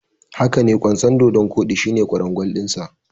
Hakane, kwanson dodon kodi shine kwarangwal dinsa.